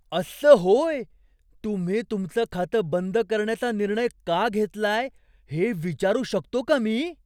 असं होय? तुम्ही तुमचं खातं बंद करण्याचा निर्णय का घेतलाय हे विचारू शकतो का मी?